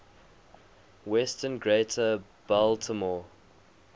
western greater baltimore